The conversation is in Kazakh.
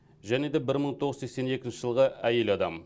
және де бір мың тоғыз жүз сексен екінші жылғы әйел адам